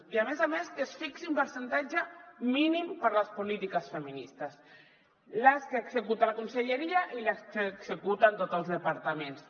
i a més a més que es fixi un percentatge mínim per a les polítiques feministes les que executa la conselleria i les que executen tots els departaments